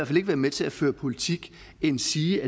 fald ikke være med til at føre politik endsige